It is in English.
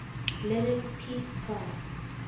lenin peace prize